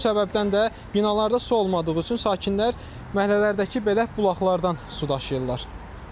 Bu səbəbdən də binalarda su olmadığı üçün sakinlər məhəllələrdəki belə bulaqlardan su daşıyırlar.